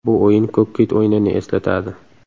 Bu o‘yin ‘Ko‘k kit’ o‘yinini eslatadi.